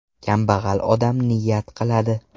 Kambag‘al odam niyat qiladi.